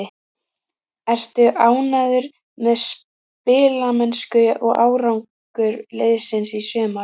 Ertu ánægður með spilamennsku og árangur liðsins í sumar?